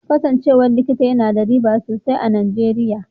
Kasancewa likita yana da riba sosai a Nijeriya.